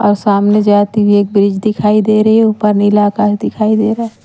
और सामने जाती हुए एक ब्रिज दिखाई दे रही है ऊपर नीला आकाश दिखाई दे रहा है।